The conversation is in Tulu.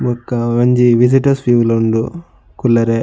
ಬೊಕ್ಕ ಉಂಜಿ ವಿಸಿಟರ್ಸ್ ವಿವ್ ಲ ಉಂಡು ಕುಲ್ಲೆರೆ.